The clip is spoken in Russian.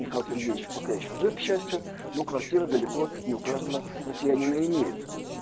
михаил сергеевич пока ещё жив к счастью но квартира далеко не у каждого россиянина имеется